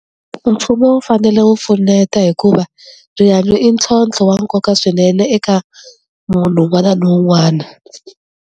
Mfumo wu fanele wu pfuneta hikuva rihanyo i ntlhontlho wa nkoka swinene eka munhu un'wana na un'wana.